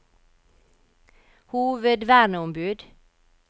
hovedverneombud